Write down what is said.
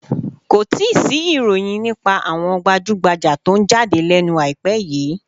Kò tíì sí ìròyìn nípa àwọn gbajúgbajà tó ń jáde lẹ́nu àìpẹ́ yìí